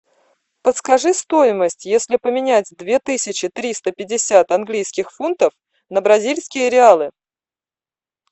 подскажи стоимость если поменять две тысячи триста пятьдесят английских фунтов на бразильские реалы